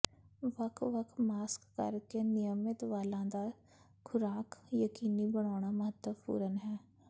ਵੱਖ ਵੱਖ ਮਾਸਕ ਕਰ ਕੇ ਨਿਯਮਿਤ ਵਾਲਾਂ ਦਾ ਖੁਰਾਕ ਯਕੀਨੀ ਬਣਾਉਣਾ ਮਹੱਤਵਪੂਰਨ ਹੈ